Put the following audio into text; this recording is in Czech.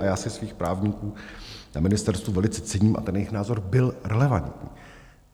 A já si svých právníků na ministerstvu velice cením a ten jejich názor byl relevantní.